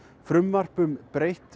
frumvarp um breytt